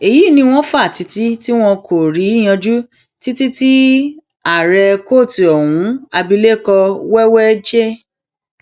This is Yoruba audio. èyí ni wọn fa tiiti tí wọn kò rí yanjú títí tí ààrẹ kóòtù ohun abilékọ wẹwẹ j